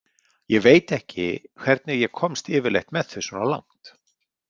Ég veit ekki hvernig ég komst yfirleitt með þau svona langt.